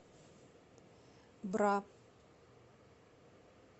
бра